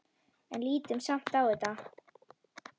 En lítum samt á þetta.